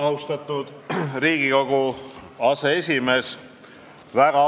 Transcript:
Austatud Riigikogu esimees!